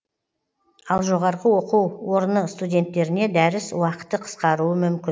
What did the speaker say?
ал жоо студенттеріне дәріс уақыты қысқаруы мүмкін